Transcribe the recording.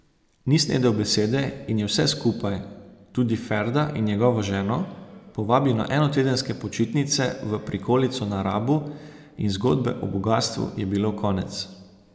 Ni snedel besede in je vse skupaj, tudi Ferda in njegovo ženo, povabil na enotedenske počitnice v prikolico na Rabu in zgodbe o bogastvu je bilo konec.